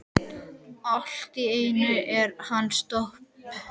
Allt í einu er hann staðinn upp.